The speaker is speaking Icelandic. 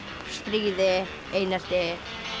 stríði einelti